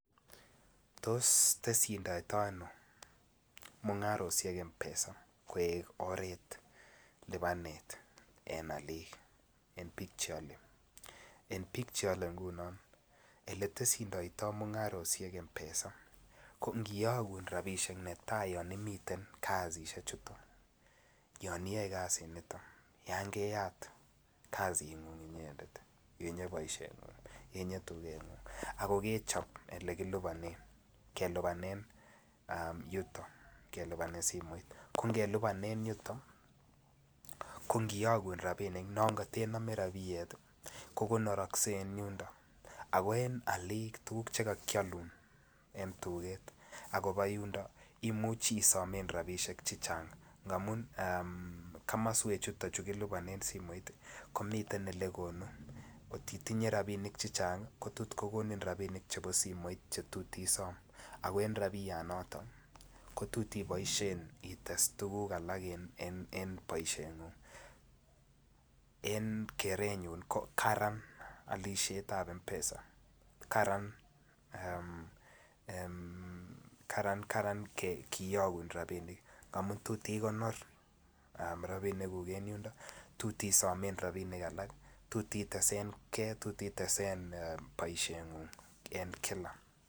Ngiyokun rapisiek netai yon imiten kasisiek chuton ako kechop ole kiliponen kelipanen simoit ko ngelipanen yuton ngiyokun rapinik non katenome rapinik koliponokse en yundo ako en aliik tuguk chekokyoldeon en tuket imuchi isomen rapisiek chechang ' amun komoswek chutok chu kiliponen simoit kotkokonin rapisiek chechang' kototkokonin isom ako tot iboisien ites tuguk alak en boiseing'ung',en keenyun ko karan alisiet en simoit amun tot ikonor rapinikkuk en yundo ako tot itesen boisien ng'ung' en kila.